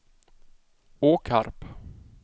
Åkarp